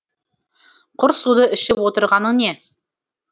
құр суды ішіп отырғаның не